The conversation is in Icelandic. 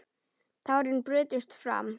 Tárin brutust fram.